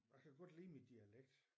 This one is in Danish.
Jeg kan godt lide min dialekt